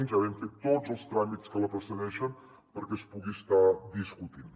ja vam fer tots els tràmits que la precedeixen perquè es pugui estar discutint